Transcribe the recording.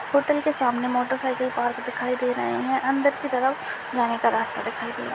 Hotel के सामने motorcycle की पार्क दिखाई दे रहे है अंदर की तरफ जाने का रास्ता दिखाई दे रहा है।